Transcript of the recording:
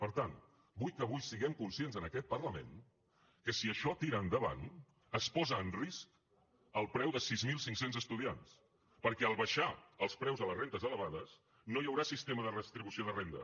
per tant vull que avui siguem conscients en aquest parlament que si això tira endavant es posa en risc el preu de sis mil cinc cents estudiants perquè a l’abaixar els preus a les rendes elevades no hi haurà sistema de redistribució de renda